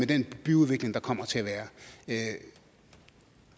den byudvikling der kommer til at være